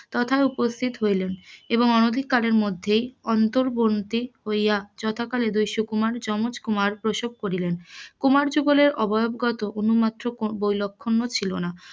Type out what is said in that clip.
তথা উপস্থিত হইলেন, এবং অনধিকালের মধ্যেই অন্তর বন্দি হইয়া যথাকালে দুই সুকুমার যমজ কুমার প্রসব করিলেন, কুমার যুগলের অবয়বগত অনুমান মাত্র বৈলক্ষণ্য ছিল না,